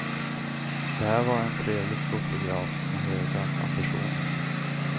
Det här var en trevlig fotograf med höga ambitioner.